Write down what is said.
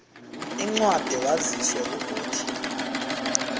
incwadi waziswe ukuthi